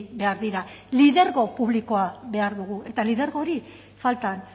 behar dira lidergo publikoa behar dugu eta lidergo hori faltan